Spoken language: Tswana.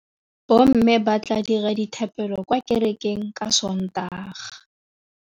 Bommê ba tla dira dithapêlô kwa kerekeng ka Sontaga.